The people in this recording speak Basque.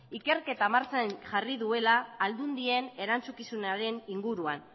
ikerketa martxan jarri duela aldundien erantzukizunaren inguruan